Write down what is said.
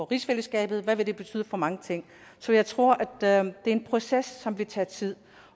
rigsfællesskabet hvad det vil betyde for mange ting så jeg tror det er en proces som vil tage tid